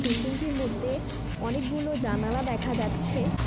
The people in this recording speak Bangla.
বিল্ডিং -টির মধ্যে অনেকগুলো জানালা দেখা যাচ্ছে।